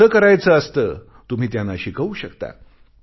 कसे करायचे असते तुम्ही त्यांना शिकवू शकता